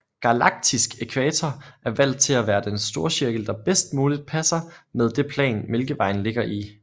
Galaktisk ækvator er valgt til at være den storcirkel der bedst muligt passer med det plan Mælkevejen ligger i